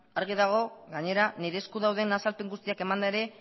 argi dago gainera nire esku dauden azalpen guztiak emanda ere